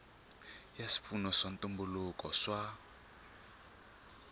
ya swipfuno swa ntumbuluko swa